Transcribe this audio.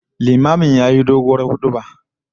Limamin yayi doguwar huduba